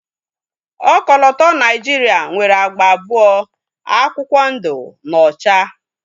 Ọkọlọtọ Naijiria nwere agba abụọ, akwụkwọ ndu na ocha